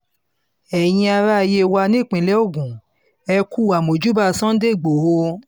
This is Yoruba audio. ẹ̀yin ará yewa nípínlẹ̀ ogun ẹ̀ kú àmọ̀júbà sunday igbodò